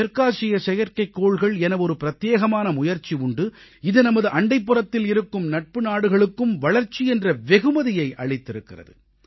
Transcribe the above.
தெற்காசிய செயற்கைக்கோள்கள் என ஒரு பிரத்யேகமான முயற்சி உண்டு இது நமது அண்டைப்புறத்தில் இருக்கும் நட்பு நாடுகளுக்கும் வளர்ச்சி என்ற வெகுமதியை அளித்திருக்கிறது